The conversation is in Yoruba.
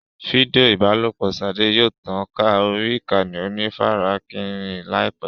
Fídíò ìbálòpọ̀ Ṣadé yóò tàn ká orí ìkànnì onífarakínra láìpẹ́.